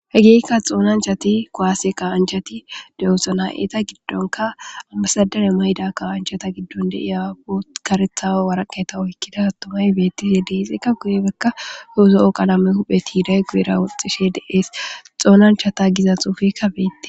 He giikka xoonanchati kowaase kawanchati de'son 'a giddonka ammasadane mayda kawanchata giddonde iyaa po karethaa waraqeta oykkida attomay beettise deexekka guye bekka huuzo' o qalame huphe tiiday guyera woxxishe deees xoonanchata giza xuufekka beette.